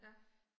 Ja